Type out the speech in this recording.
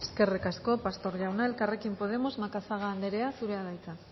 eskerrik asko pastor jauna elkarrekin podemos macazaga anderea zurea da hitza